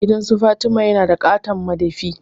Gidansu Fatima yana da ƙaton madafi.